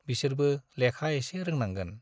बिसोरबो लेखा एसे रोंनांगोन।